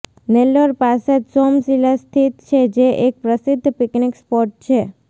નેલ્લોર પાસે જ સોમસિલા સ્થિત છે જે એક પ્રસિદ્ધ પિકનિક સ્પોટ છે